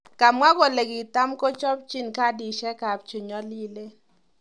Kamwa kole kitamkokochinb"Kadishek kap chenyolilen".